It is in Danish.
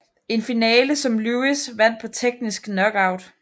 En finale som Lewis vandt på teknisk knockout